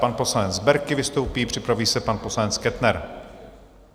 Pan poslanec Berki vystoupí, připraví se pan poslanec Kettner.